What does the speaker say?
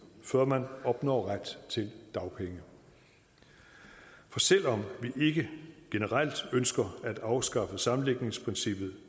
før man opnår ret til dagpenge for selv om vi ikke generelt ønsker at afskaffe sammenlægningsprincippet